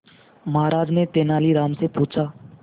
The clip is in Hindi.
महाराज ने तेनालीराम से पूछा